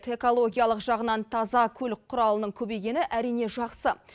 экологиялық жағынан таза көлік құралының көбейгені әрине жақсы